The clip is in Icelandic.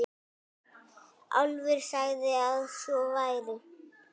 Álfur sagði að svo væri.